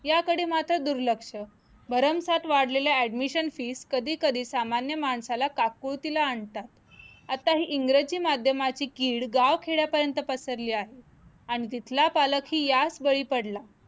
याकडे मात्र दुर्लक्ष भरमसाठ वाढलेल्या admission fees कधीकधी सामान्य माणसाला काकुळतीला आणतात आताही इंग्रजी माध्यमाची किडगाव खेड्यापर्यंत पसरली आहे आणि तिथला पालखीही याच बळी पडला